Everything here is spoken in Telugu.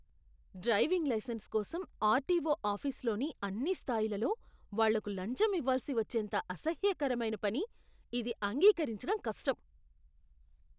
డ్రైవింగ్ లైసెన్స్ కోసం ఆర్టీఓ ఆఫీసులోని అన్ని స్థాయిలలో వాళ్ళకు లంచం ఇవ్వాల్సి వచ్చేంత అసహ్యకరమైన పని, ఇది అంగీకరించడం కష్టం.